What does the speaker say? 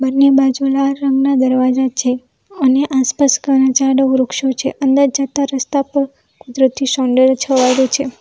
બંને બાજુ લાલ રંગના દરવાજા છે અને આસપાસ ઘણા ઝાડો વૃક્ષો છે અંદર જતા રસ્તા પર કુદરતી સૌંદર્ય છવાયેલું છે.